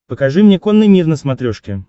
покажи мне конный мир на смотрешке